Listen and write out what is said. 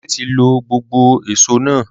Dele ti lo gbogbo éṣo náa tan